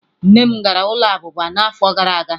Nne m gara ụlọ abụba n'afọ gara aga.